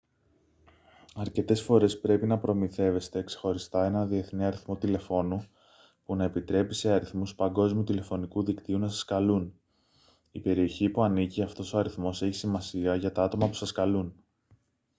αρκετές φορές πρέπει να προμηθεύεστε ξεχωριστά έναν διεθνή αριθμό τηλεφώνου που να επιτρέπει σε αριθμούς παγκόσμιου τηλεφωνικού δικτύου να σας καλούν η περιοχή που ανήκει αυτός ο αριθμός έχει σημασία για τα άτομα που σας καλούν